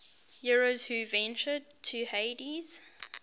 heroes who ventured to hades